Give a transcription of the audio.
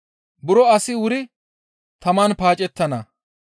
«Buro asi wuri taman paacettana.